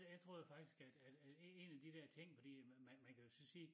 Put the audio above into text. Jeg troede jo faktisk at at at én af de dér ting fordi man man kan jo så sige